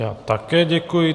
Já také děkuji.